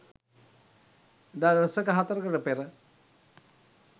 එදා දශක හතරකට පෙර